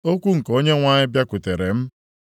Okwu nke Onyenwe anyị bịakwutere m,